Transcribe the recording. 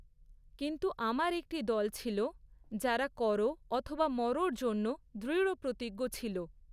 কিন্তু আমার একটি দল ছিল, যারা করো অথবা মরোর জন্য দৃঢ়প্রতিজ্ঞ ছিল।